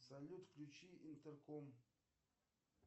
салют включи интерком